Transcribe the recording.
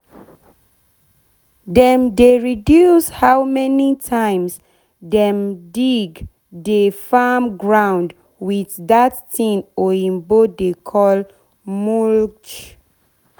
dem dey reduce how many times dem dig de farm ground with dat tin oyibo dey call mulch